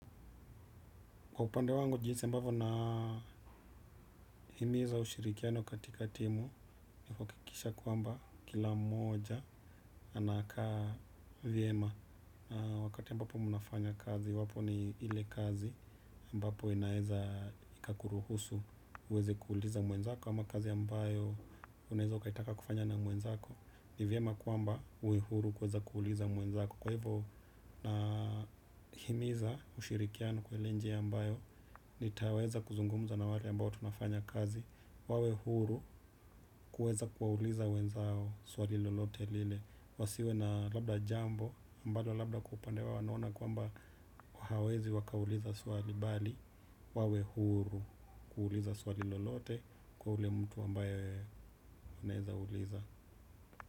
Kwa upande wangu, jinsi ambavyo nahimiza ushirikiano katika timu, ni kuhakikisha kwamba kila mmoja anakaa vyema. Wakati ambapo mnafanya kazi, iwapo ni ile kazi ambapo inaeza ikakuruhusu, uweze kuuliza mwenzako, ama kazi ambayo unaeze ukaitaka kufanya na mwenzako, ni vyema kwamba uwe huru kuweza kuuliza mwenzako. Kwa hivo nahimiza ushirikiano kwa ile njia ambayo nitaweza kuzungumza na wale ambao tunafanya kazi. Wawe huru kuweza kuwauliza wenzao swali lolote lile. Wasiwe na labda jambo ambalo labda wa upande wao wanaona kwamba hawezi wakauliza swali bali wawe huru kuuliza swali lolote kwa ule mtu ambaye anaeza uliza.